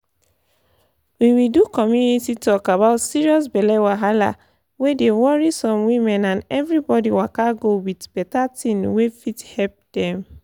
we we do community talk about serious belle wahala wey dey worry some women and everybody waka go with better thing wey fit help dem.